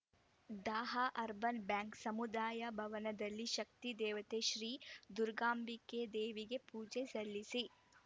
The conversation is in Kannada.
ದಾಹ ಅರ್ಬನ್‌ ಬ್ಯಾಂಕ್‌ ಸಮುದಾಯ ಭವನದಲ್ಲಿ ಶಕ್ತಿ ದೇವತೆ ಶ್ರೀ ದುರ್ಗಾಂಬಿಕೆ ದೇವಿಗೆ ಪೂಜೆ ಸಲ್ಲಿಸಿ